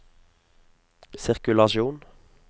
sirkulasjon